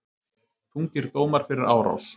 Þungir dómar fyrir árás